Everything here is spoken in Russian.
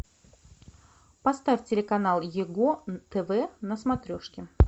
поставь телеканал его тв на смотрешке